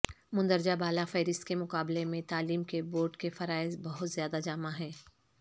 مندرجہ بالا فہرست کے مقابلے میں تعلیم کے بورڈ کے فرائض بہت زیادہ جامع ہیں